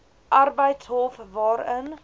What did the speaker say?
arbeidshof hof waarin